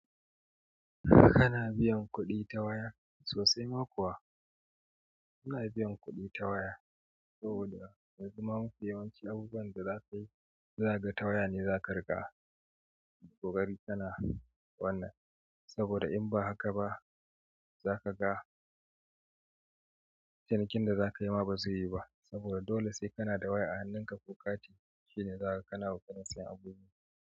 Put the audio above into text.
Kana biyan kuɗi ta waya sosai ma kuwa? Muna biyan kuɗi ta waya saboda yanzu ma mafi yawanci abubuwan da za ka yi, za ka ga ta waya ne za ka riƙa. Ƙoƙari kana wannan saboda in ba haka ba, za ka ga cinikin da za ka yi ma ba zai yi ba saboda dole sai kana da waya a hannunka. Ko kati shine zakaga kana kokarin sayen abu.